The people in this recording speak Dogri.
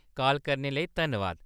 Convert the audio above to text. काल करने लेई धन्नवाद।